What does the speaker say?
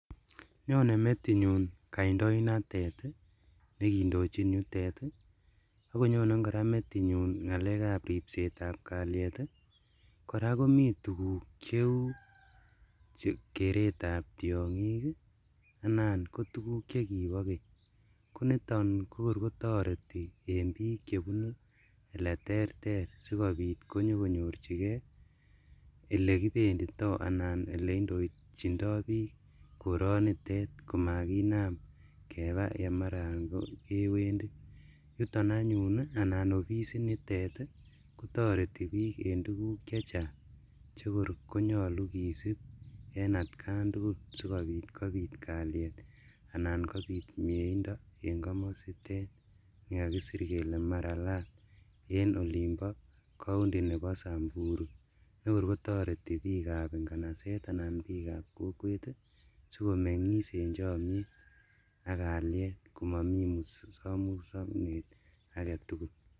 Nyone metinyun kandoinatet nekindochin yutet akonye kora metinyun ripsetab kaliet kora komii tukuk cheu keretab tiong'ik anan ko tukuk chekipo keny koniton kokorkotoreti en biik chebunu eleterter sikopit konyokonyorchike elekibendito alan eleindochindoo biik koronitet komakinam kebaa yemaraan kewendi yuton anyun anan ofisinitet kotoreti biik en tukuk chechang chekor konyolu kisip en atkan tugul sikopikopit kaliet anan kopit mieindo en komositet nekakisir kele Maralal en olimpo county nepo Samburu nekorkotorti biikab nganaset anan biikab kokwet sikomeng'is en chomiet ak kaliet komomii musomusonat aketugul.